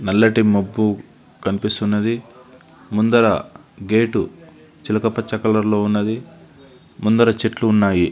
నల్లటి మబ్బు కనిపిస్తున్నది ముందర గేట్ చిలక పచ్చని కలర్ లో ఉన్నది ముందర చెట్లు ఉన్నాయి.